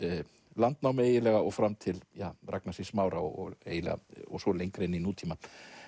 landnámi og fram til Ragnars í Smára og svo lengra inn í nútímann